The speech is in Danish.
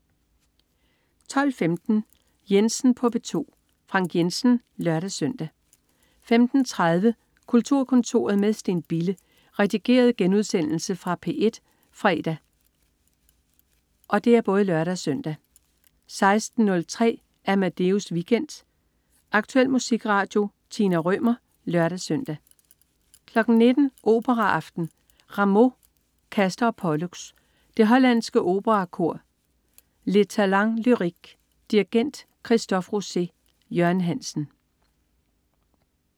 12.15 Jensen på P2. Frank Jensen (lør-søn) 15.30 Kulturkontoret med Steen Bille. Redigeret genudsendelse fra P1 fredag (lør-søn) 16.03 Amadeus Weekend. Aktuel musikradio. Tina Rømer (lør-søn) 19.00 Operaaften. Rameau: Castor og Pollux. Det hollandske Operakor. Les Talens Lyriques. Dirigent: Christophe Rousset. Jørgen Hansen